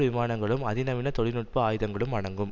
விமானங்களும் அதிநவீன தொழில் நுட்ப ஆயுதங்களும் அடங்கும்